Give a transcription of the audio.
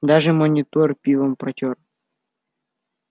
даже монитор пивом протёр